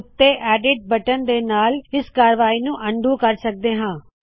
ਉਤੇ ਦਿਤੇ ਗਏ ਏਡਿਟ ਬਟਨ ਦੇ ਨਾਲ਼ ਇਸ ਕਾਰਵਾਹੀ ਨੂ ਅਨਡੂ ਕਰ ਸਕਦੇ ਹਾ